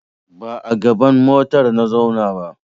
Ba a gaban motar na zauna ba.